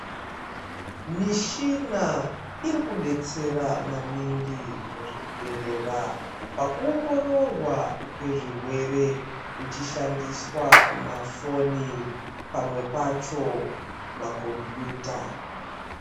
Mishina iri kudetsera maningi muzvibhedhlera, pakuongororwa kwezvirwere kuchishandiswa mafoni, pamwe pacho makombiyuta.